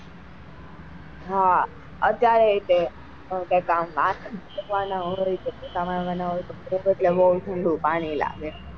હા અત્યારે તે કઈ કામ વાસણ કરવા નાં હોય કે પોતા કરવા ના હોય તો ઠંડુ પાણી લાગે.